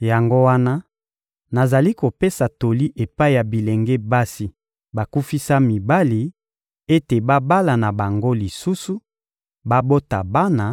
Yango wana nazali kopesa toli epai ya bilenge basi bakufisa mibali ete babala na bango lisusu, babota bana,